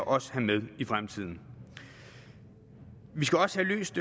også have med i fremtiden vi skal også have løst